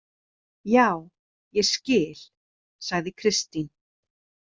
Já, ég skil, sagði Kristín.